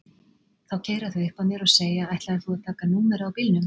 Þá keyra þau uppað mér og segja ætlaðir þú að taka númerið á bílnum?